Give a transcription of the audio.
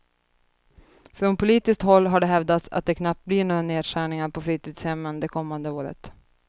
Från politiskt håll har det hävdats att det knappt blir några nedskärningar på fritidshemmen det kommande året.